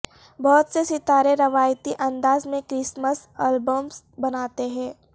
بہت سے ستارے روایتی انداز میں کرسمس البمز بناتے ہیں